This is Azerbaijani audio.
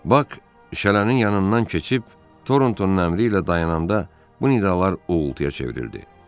Bak şələnin yanından keçib Torntonun əmri ilə dayananda bu nidalar uğultuya çevrildi.